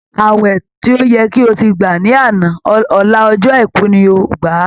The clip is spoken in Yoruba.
Ààwẹ̀ tó yẹ kí o ti gbà ní àná, ọ̀la ọjọ́ àìkú ni o ó gbà á!